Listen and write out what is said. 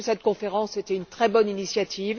Cette conférence était une très bonne initiative.